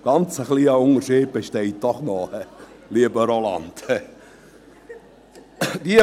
Ein ganz kleiner Unterschied besteht doch noch, lieber Roland Näf.